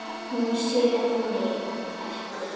Hún sér mig ekki.